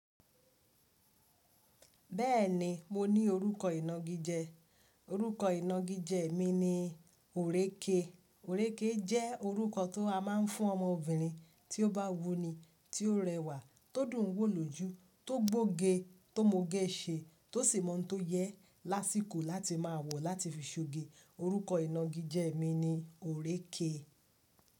Bẹ́ẹ̀ni mo ní orúkọ ìnagijẹ, orúkọ ìnagijẹ mi ni Oreke. Oreke jẹ́ orúkọ tó a máa ń fún ọmọbìnrin tí ó bá wuni, tí ó rẹwà, tó dùn wò lójú, tó gbóge, tó mogẹ́ ṣe, tó sì mọ̀ tó yẹ lásìkò láti máa wò láti fi ṣoge. Orúkọ ìnagijẹ mi ni Oreke.